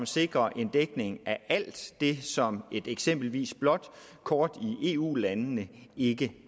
sikrer en dækning af alt det som et eksempelvis blåt kort i eu landene ikke